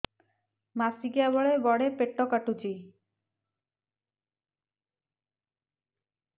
ମାସିକିଆ ବେଳେ ବଡେ ପେଟ କାଟୁଚି